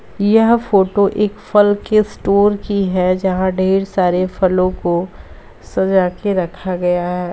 यह फोटो एक फल के स्टोर की है जहाँ ढ़ेर सारे फलो को सजा के रखा गया है।